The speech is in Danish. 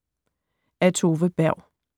Af Tove Berg